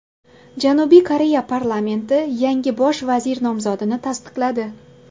Janubiy Koreya parlamenti yangi bosh vazir nomzodini tasdiqladi.